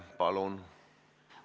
Palun!